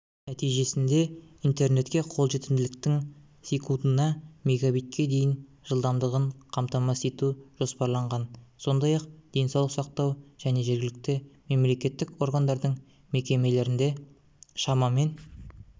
нәтижесінде интернетке қолжетімділіктің секундына мегабитке дейін жылдамдығын қамтамасыз ету жоспарланған сондай-ақ денсаулық сақтау және жергілікті мемлекеттік органдардың мекемелерінде шамамен